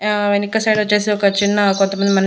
ఆ వెనుక సైడొచ్చేసి ఒక చిన్న కొంతమంది మన్--